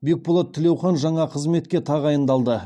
бекболат тілеухан жаңа қызметке тағайындалды